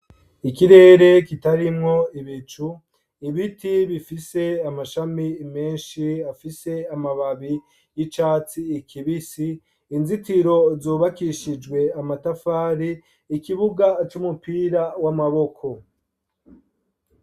Ikirere kitarimwo ibicu ibiti bifise amashami menshi afise amababi y’icatsi kibisi inzitiro zubakishijwe amatafari, ikibuga c’umupira w’amaboko.